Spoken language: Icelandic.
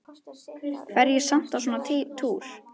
Fer ég samt á svona túr?